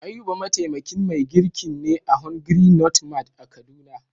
Ayuba mataimakin mai girkin ne a "hungry not mad " a kaduna.